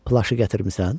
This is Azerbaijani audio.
Plaşı gətirmisən?